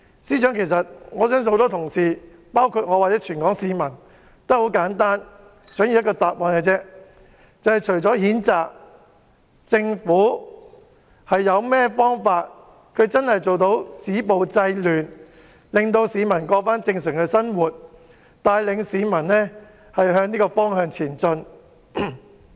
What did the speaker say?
司長，我相信很多同事，包括全港市民，只簡單地想要一個答覆，就是政府除了譴責外，究竟還有甚麼方法止暴制亂，讓市民重過正常生活，帶領市民向這個方向前進。